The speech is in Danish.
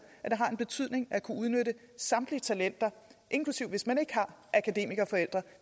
at det har en betydning at kunne udnytte samtlige talenter inklusive hvis man ikke har akademikerforældre